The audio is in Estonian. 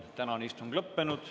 Tänane istung on lõppenud.